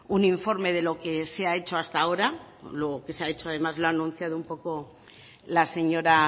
un informe de lo que se ha hecho hasta ahora lo que se ha hecho además lo ha anunciado un poco la señora